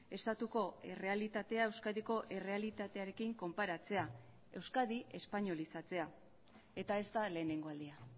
estatuko errealitatea euskadiko errealitatearekin konparatzea euskadi espainolizatzea eta ez da lehenengo aldia